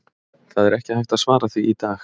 Það er ekki hægt að svara því í dag.